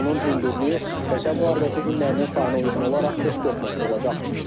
Onun hündürlüyü Vətən müharibəsi günlərinin sayına uyğun olaraq 44 metr olacaq.